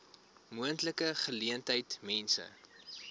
moontlike geleentheid mense